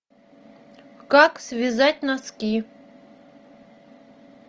как связать носки